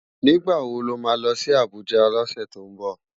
Nigbá wó má lòsi Abuja lòsè tó nbò?